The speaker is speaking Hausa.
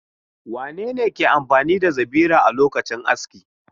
Wane ne ke amfani da zabira a lokacin aski?